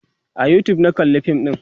a YouTube na kalla fin ɗin